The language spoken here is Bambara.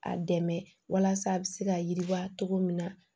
A dɛmɛ walasa a bɛ se ka yiriwa cogo min na